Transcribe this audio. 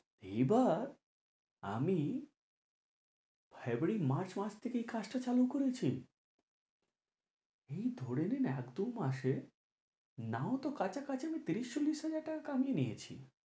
এই বার আমি ফেব্রুয়ারি মার্চ মাস থেকে এই কাজটা চালু করেছি এই ধরে নে না এক দু মাসে নাও তো কাছাকাছি তিরিশ চল্লিশ হাজার টাকা কামিয়ে নিয়েছি।